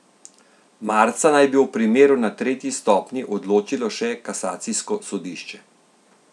Marca naj bi o primeru na tretji stopnji odločilo še kasacijsko sodišče.